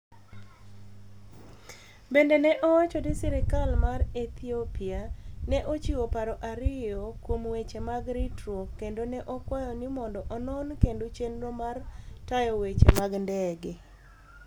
Bende ne owacho ni sirkal mar Ethiopia ne ochiwo paro ariyo kuom weche mag ritruok kendo ne okwayo ni mondo onon kendo chenro mar tayo weche mag ndege.